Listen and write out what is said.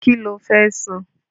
Kí ló fẹ́ sun?